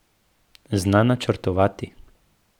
Zna načrtovati.